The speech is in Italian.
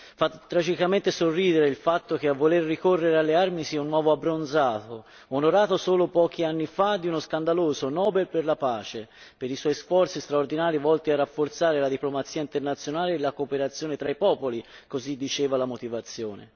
Fa tragicamente sorridere il fatto che a voler ricorrere alle armi sia un uomo abbronzato, onorato solo pochi anni fa di uno scandaloso Nobel per la pace, per i suoi sforzi straordinari volti a rafforzare la diplomazia internazionale e la cooperazione tra i popoli così diceva la motivazione.